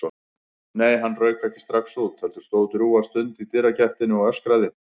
Nei, hann rauk ekki strax út, heldur stóð drjúga stund í dyragættinni og öskraði.